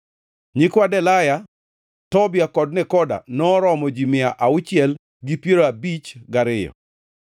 Nyikwa Delaya, Tobia kod Nekoda noromo ji mia auchiel gi piero abich gariyo (652).